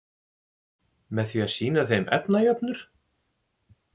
Með því að sýna þeim efnajöfnur?